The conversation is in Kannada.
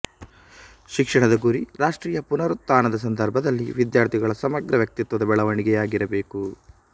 ಶಿಕ್ಷಣದ ಗುರಿ ರಾಷ್ಟ್ರೀಯ ಪುನರುತ್ಥಾನದ ಸಂದರ್ಭದಲ್ಲಿ ವಿದ್ಯಾರ್ಥಿಗಳ ಸಮಗ್ರ ವ್ಯಕ್ತಿತ್ವದ ಬೆಳವಣಿಗೆಯಾಗಿರಬೇಕು